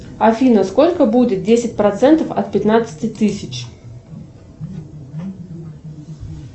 афина сколько будет десять процентов от пятнадцати тысяч